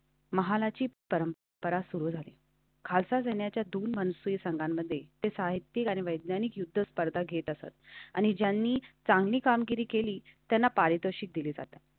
महाची परंपरा सुरू झाली. खालचा जाण्याच्यातून तेरा संघामध्ये ते साहित्यिक आणि वैज्ञानिकयुद्ध स्पर्धा घेत असतात आणि ज्यांनी चांगली कामगिरी केली त्यांना पारितोषिक दिले जाते.